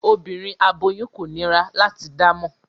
Obinrin aboyun ko nira lati damọ